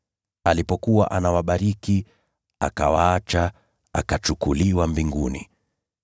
Alipokuwa anawabariki, akawaacha, akachukuliwa mbinguni.